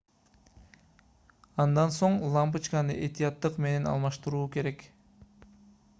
андан соң лампочканы этияттык менен алмаштыруу керек